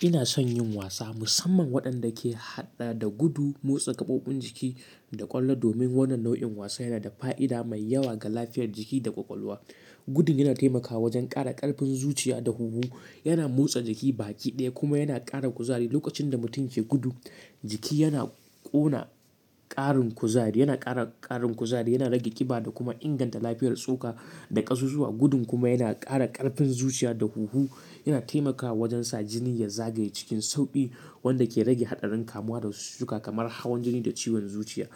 Ina son yin wasa, musamman waɗanda ke haɗe da gudu, motsa gaɓoɓin jiki da ƙwallo, domin wannan nau'in wasa yana da fa'ida mai yawa ga lafiyar jiki da ƙwaƙwalwa. Gudu yana taimakawa wajen ƙara ƙarfin zuciya da huhu, yana motsa jiki baki ɗaya kuma yana ƙara kuzari. Lokacin da mutum ke gudu, jiki yana ƙuna ƙarin kuzari, yana ƙara ƙarin kuzari, yana rage ƙiba da kuma inganta lafiyar tsoka da ƙasusuwa. Gudu kuma yana ƙara ƙarfin zuciya da huhu, yana taimakawa wajen sa jini ya zagaye cikin sauƙi wanda ke rage haɗarin kamuwa da cututtuka kamar hawan jini da ciwon zuciya.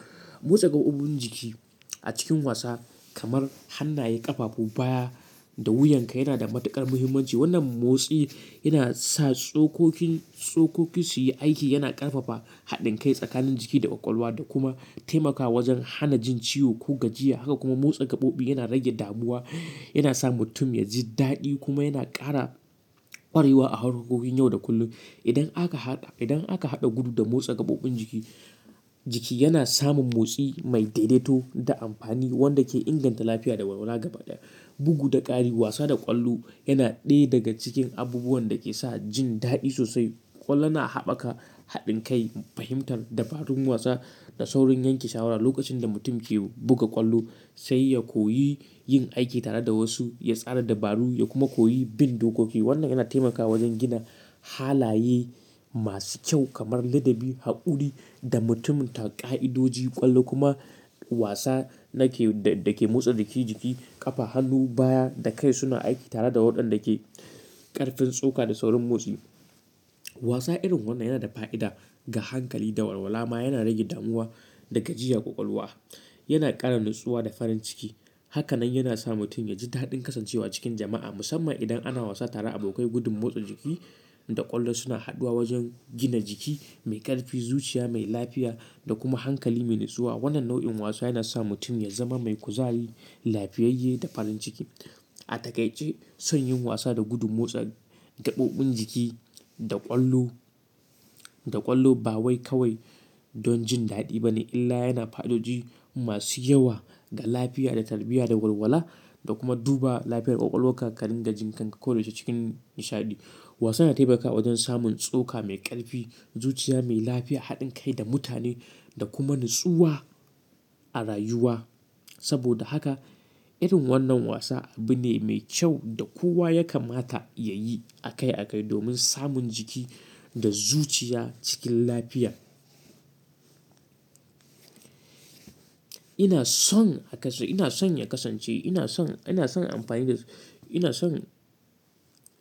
Motsa gaɓoɓin jiki a cikin wasa kamar hannaye, ƙafafu, baya da wuyanka yana da matuƙar muhimmanci. Wannan motsi yana sa tsokoki, tsokoki su yi aiki, yana ƙarfafa haɗin kai tsakanin jiki da ƙwaƙwalwa da kuma taimakawa wajen hana jin ciwo ko gajiya. Haka kuma motsa gaɓoɓi yana rage damuwa, yana sa mutum ya ji daɗi kuma yana ƙara ƙwarewa a harkokokin yau da kullum. Idan aka haɗa, idan aka haɗa gudu da motsa gaɓoɓin jiki, jiki yana samun motsi mai daidaito da amfani wanda ke inganta lafiya da walwala gaba ɗaya. Bugu da ƙari wasa da ƙwallo yana ɗaya daga cikin abubuwan da ke sa jin daɗi sosai. Ƙwallo na haɓaka haɗin kai, fahimtar dabarun wasa da saurin yanke shawara. Lokacin da mutum ke buga ƙwallo, sai ya koyi yin aiki tare da wasu, ya tsara dabaru ya kuma koyi bin dokoki. Wannan yana taimakawa wajen gina halaye masu kyau kamar ladabi, haƙuri da mutunta ƙa'idoji. Ƙwallo kuma wasa da ke, da ke motsa jiki jiki, ƙafa, hannu, baya da kai suna aiki tare da waɗanda ke ƙarfin tsoka da saurin motsi. Wasa irin wannan yana da fa'ida ga hankali da walwala ma yana rage damuwa da gajiyan ƙwaƙwalwa. Yana ƙara natsuwa da farin ciki. Haka nan yana sa mutum ya ji daɗin kasancewa cikin jama'a, musamman idan ana wasa tare da abokai. Gudu, motsa jiki da ƙwallo suna haɗuwa wajen gina jiki mai ƙarfi, zuciya mai lafiya da kuma hankali mai natsuwa. Wannan nau'in wasa yana sa mutum ya zama mai kuzari, lafiyayye da farin ciki. A takaice, son yin wasa da gudu, motsa gaɓoɓin jiki da ƙwallo, da ƙwallo ba wai kawai don jin daɗi ba ne, illa yana da fa'idoji masu yawa ga lafiya, tarbiyya da walwala da kuma duba lafiyar ƙwaƙwalwan ka karin ga jin kanka ko da yaushe cikin nishaɗi. Wasa yana taimakawa wajen samun tsoka mai ƙarfi, zuciya mai lafiya, haɗin kai da mutane da kuma natsuwa a rayuwa. Saboda haka irin wannan wasa abu ne mai kyau da kowa ya kamata ya yi a kai a kai domin samun jiki da zuciya cikin lafiya. Ina son haka sai ina son ya kasance. Ina son, ina son amfani da, ina son,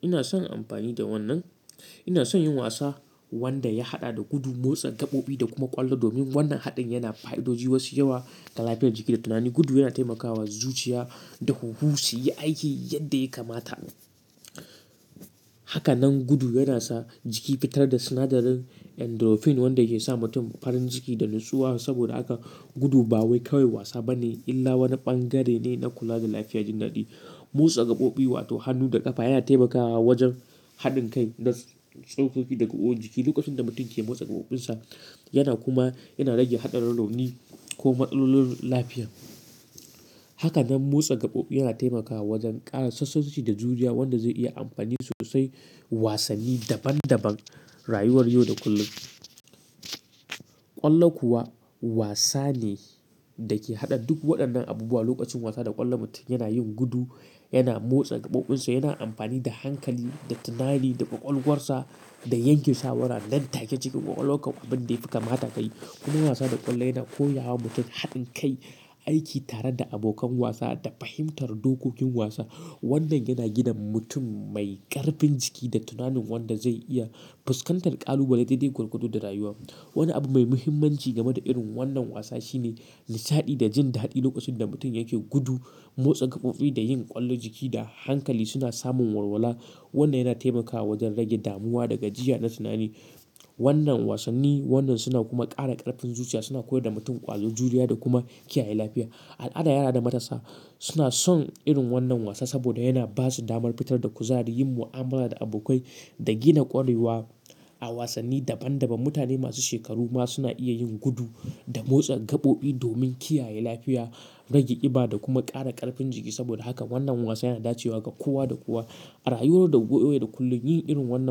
ina son amfani da wannan. Ina son yin wasa wanda ya haɗa da gudu, motsa gaɓoɓi da kuma ƙwallo. Domin wannan haɗin yana da fa'idoji masu yawa ga lafiyar jiki da tunani. Gudu yana taimakawa zuciya da huhu su yi aiki yadda ya kamata. Haka nan gudu yana sa jiki fitar da sinadarin endorphin wanda yake sa mutum farin ciki da natsuwa. Saboda haka gudu ba wai kawai wasa ba ne, illa wani ɓangare ne na kula da lafiya da jin daɗi. Motsa gaɓoɓi wato hannu da ƙafa yana taimakawa wajen haɗin kai na tsokoki daga ƙwan jiki. Lokacin da mutum ke motsa gaɓoɓinsa, yana kuma yana rage haɗarin rauni ko matsalolin lafiya. Haka nan motsa gaɓoɓi yana taimakawa wajen ƙara sassauci da juriya wanda zai iya amfani sosai wasanni daban daban rayuwar yau da kullum. Ƙwallo kuwa wasa ne da ke haɗa duk waɗannan abubuwa. Lokacin wasa da ƙwallo, mutum yana yin gudu, yana motsa gaɓoɓinsa, yana amfani da hankali, da tunani, da ƙwaƙwalwarsa da yanke shawara nan take cikin ƙwaƙwalwa akan abin da ya fi kamata ka yi. Kuma wasa da ƙwallo yana koya wa mutum haɗin kai, aiki tare da abokan wasa da fahimtar dokokin wasa. Wannan yana gina mutum mai ƙarfin jiki da tunanin wanda zai iya fuskantar ƙalubale daidai gwargwado da rayuwa. Wani abu mai muhimmanci game da irin wannan wasa shine nishaɗi da jin daɗi. Lokacin da mutum yake gudu, motsa gaɓoɓi da yin ƙwallon jiki da hankali suna samun walwala. Wannan yana taimakawa wajen rage damuwa da gajiya na tunani. Wannan wasanni wannan suna kuma ƙara ƙarfin zuciya, suna koyar da mutum ƙwazo, juriya da kuma kiyaye lafiya. Al'ada yara da matasa suna son irin wannan wasa saboda yana ba su damar fitar da kuzari, yin mu'amala da abokai da gina ƙwarewa a wasanni daban daban. Mutane masu shekaru ma suna iya yin gudu da motsa gaɓoɓi domin kiyaye lafiya, rage ƙiba da kuma ƙara ƙarfin jiki. Saboda haka wannan wasa yana dacewa ga kowa da kowa a rayuwar da yau da kullum. Yin irin wannan.